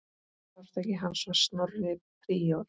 Arftaki hans var Snorri príor.